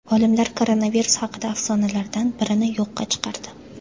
Olimlar koronavirus haqidagi afsonalardan birini yo‘qqa chiqardi.